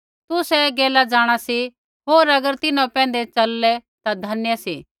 तुसै ऐ गैला जाँणा सी होर अगर तिन्हां पैंधै चललै ता धन्य सी